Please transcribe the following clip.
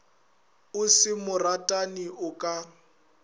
o se moratani o ka